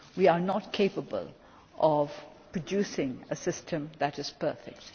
We are not capable of producing a system that is perfect.